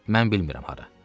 Mən bilmirəm hara.